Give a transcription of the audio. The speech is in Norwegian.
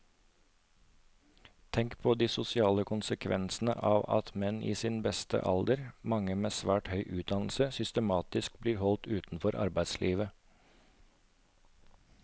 Tenk på de sosiale konsekvensene av at menn i sin beste alder, mange med svært høy utdannelse, systematisk blir holdt utenfor arbeidslivet.